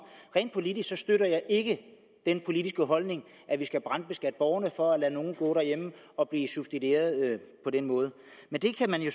rent politisk støtter jeg ikke den holdning at vi skal brandskatte borgerne for at lade nogle gå derhjemme og blive subsidieret på den måde men det kan man jo